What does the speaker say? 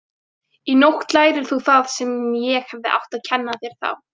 Í nótt lærir þú það sem ég hefði átt að kenna þér þá.